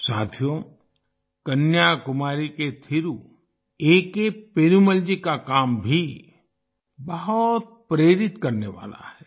साथियो कन्याकुमारी के Thiru A K Perumal ji का काम भी बहुत प्रेरित करने वाला है